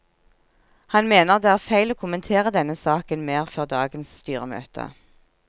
Han mener det er feil å kommentere denne saken mer før dagens styremøte.